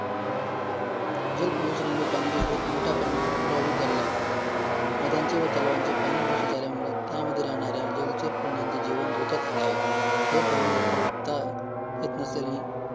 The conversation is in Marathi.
जल प्रदूषणामुळे पाण्याचे सर्वात मोठ्या प्रमाणात प्रभावित झालेले आहेत, नद्यांचे व तलावांचे पाणी दुषित झाल्यामुळे, त्यामध्ये राहणारे जलचर प्राण्यांचे जीवन धोक्यात आले आहे, हे पाणी वापरता येत नसल्याने